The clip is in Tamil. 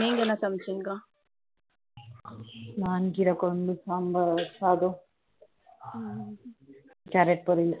நீங்க என்ன சமைச்சிங்க நானு கிரை குழம்பு சாம்பார் சாதம் கேரட் பொரியல்லு